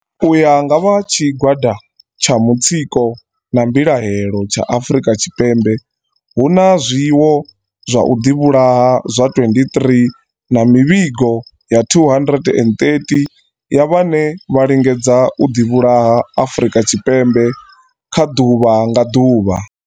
U ya nga vha tshi gwada tsha mutsiko na mbilahelo tsha Afrika Tshipembe, hu na zwiwo zwa u ḓi vhulaha zwa 23 na mivhingo ya 230 ya vhane vha lingedza u ḓi vhulaha Afrika Tshipembe kha ḓuvha nga ḓuvha.